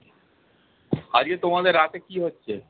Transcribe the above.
আজকে তোমাদের রাতে কি হচ্ছে?